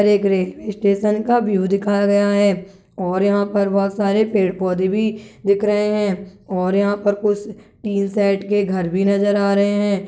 ये एक railway station का व्यू दिखाया गया है और यहाँ पे बहुत सारे पेड़-पौधे भी दिख रहे है और यहाँ पर कुछ तीन साइड के घर भी नजर आ रहे है।